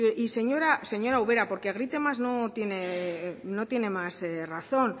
y señora ubera porque grite más no tiene más razón